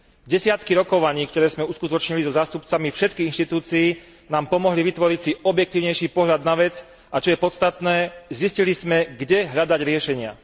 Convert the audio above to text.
Desiatky rokovaní, ktoré sme uskutočnili so zástupcami všetkých inštitúcií, nám pomohli vytvoriť si objektívnejší pohľad na vec a čo je podstatné, zistili sme, kde hľadať riešenia.